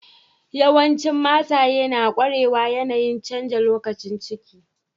Yawancin mataye na kwarewar yanayi'n canza lokacin ciki.